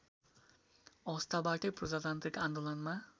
अवस्थाबाटै प्रजातान्त्रिक आन्दोलनमा